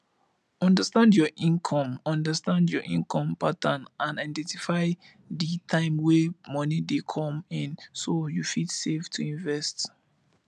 understand your income understand your income pattern and identify di time wey money dey come in so you fit save to invest